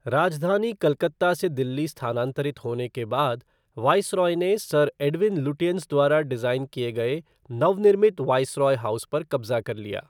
राजधानी कलकत्ता से दिल्ली स्थानांतरित होने के बाद, वायसराय ने सर एडविन लुटियंस द्वारा डिज़ाइन किए गए नवनिर्मित वायसराय हाउस पर कब्ज़ा कर लिया।